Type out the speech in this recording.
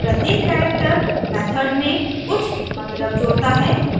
प्रत्येक character method में कुछ मतलब जोड़ता है